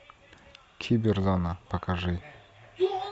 киберзона покажи